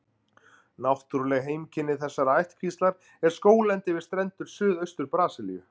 Náttúruleg heimkynni þessarar ættkvíslar er skóglendi við strendur Suðaustur-Brasilíu.